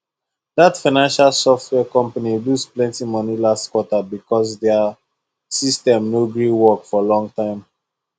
that financial software company lose plenty money last quarter because their system no gree work for long time